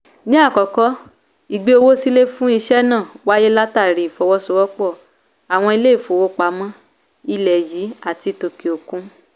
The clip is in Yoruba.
ní àkọ́kọ́ ìgbé owó sílè fún ìṣe náà wáyé látàrí ìfọwọ́sowọ́pọ́ àwọn ilé ìfowópamọ́ ilẹ̀ yìí àti ti òkè òkun.